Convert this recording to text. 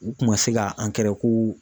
U kun ma se ka angɛrɛ ko.